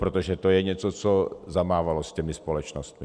Protože to je něco, co zamávalo s těmi společnostmi.